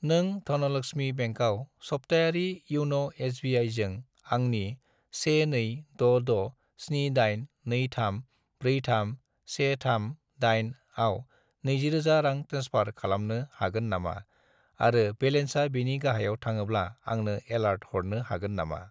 नों धनलक्समि बेंकआव सप्तायारि इउन' एस.बि.आइ.जों आंनि 1266782343138 आव 20000 रां ट्रेन्सफार खालामनो हागोन नामा आरो बेलेन्सा बेनि गाहायाव थाङोब्ला आंनो एलार्ट हरनो हागोन नामा?